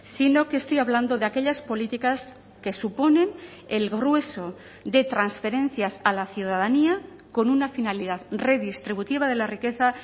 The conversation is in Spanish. sino que estoy hablando de aquellas políticas que suponen el grueso de transferencias a la ciudadanía con una finalidad redistributiva de la riqueza